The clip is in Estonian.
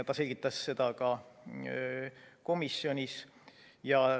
Ta selgitas seda ka komisjonis.